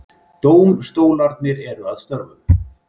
Dómstólarnir eru að störfum